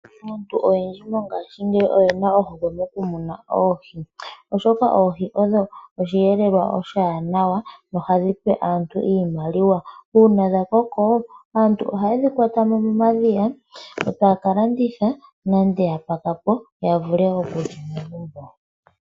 Aantu oyendji mongaashingeyi oyena ohokwe mokumuna oohi, oshoka oohi odho oshiyelelwa oshiwanawa nohadhi pe aantu iimaliwa. Uuna dha koko, aantu ohayedhi kwatamo momadhiya, etaya kalanditha, nenge ya pakapo ya vule okulya megumbo.